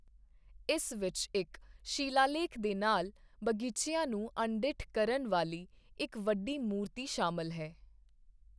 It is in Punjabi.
ਇਸ ਵਿੱਚ ਇੱਕ ਸ਼ਿਲਾਲੇਖ ਦੇ ਨਾਲ ਬਗੀਚਿਆਂ ਨੂੰ ਅਣਡਿੱਠਾ ਕਰਨ ਵਾਲੀ ਇੱਕ ਵੱਡੀ ਮੂਰਤੀ ਸ਼ਾਮਲ ਹੈ।